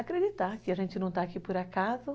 Acreditar que a gente não está aqui por acaso.